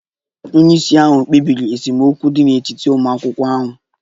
Onye isi ahụ kpebiri esemokwu dị n'etiti ụmụ akwụkwọ ahụ